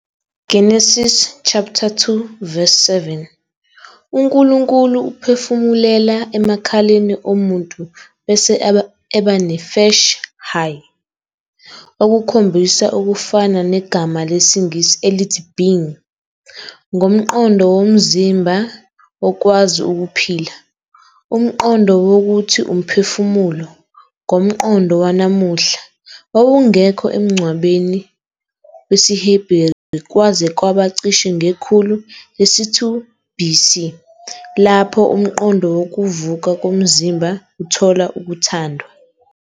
Genesis 2-7 "uNkulunkulu uphefumulela emakhaleni omuntu bese eba "nefesh hayya" ", okukhombisa okufana negama lesiNgisi elithi "being", ngomqondo womzimba womzimba okwazi ukuphila, umqondo wokuthi " umphefumulo " ngomqondo wanamuhla, wawungekho emcabangweni wesiHeberu kwaze kwaba cishe ngekhulu lesi-2 BC, lapho umqondo wokuvuka komzimba uthola ukuthandwa.